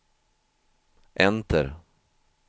enter